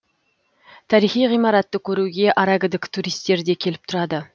тарихи ғимаратты көруге аракідік туристер де келіп тұрады